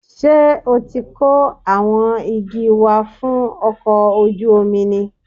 Ṣé o ti kó àwọn igi wá fún ọkọ̀ ojú omi ni?